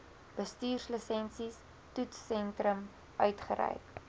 bestuurslisensie toetssentrum uitgereik